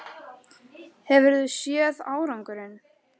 Hefurðu séð árangurinn?